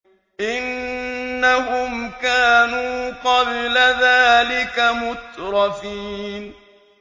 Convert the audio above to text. إِنَّهُمْ كَانُوا قَبْلَ ذَٰلِكَ مُتْرَفِينَ